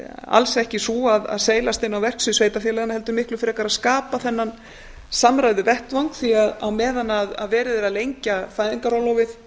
alls ekki sú að seilast inn á verksvið sveitarfélaganna heldur miklu frekar að skapa þennan samræðuvettvang því að á meðan verið er að lengja fæðingarorlofið